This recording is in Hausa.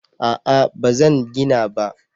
A'a ba zan gina ba